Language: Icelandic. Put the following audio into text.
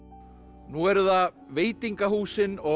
nú eru það veitingahúsin og